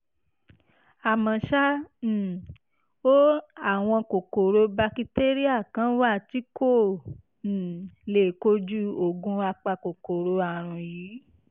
àmọ́ ṣá um o àwọn kòkòrò bakitéríà kan wà tí kò um lè kojú oògùn apakòkòrò àrùn yìí